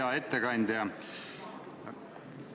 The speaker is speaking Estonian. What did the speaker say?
Hea ettekandja!